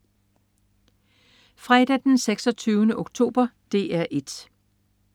Fredag den 26. oktober - DR 1: